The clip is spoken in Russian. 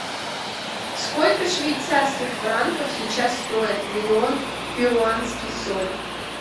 сколько швейцарских франков сейчас стоит миллион перуанских соль